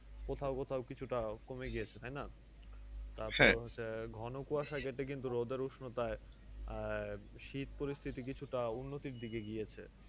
কোথাও কোথাও কিছুটা কমে গিয়েছে তাই না? তারপরে হচ্ছে ঘনকুয়াশায় যেতে কিন্তু রোদের উসনতায় আহ শীত পরিস্থিতি কিছুটা উন্নতির দিকে গিয়েছে।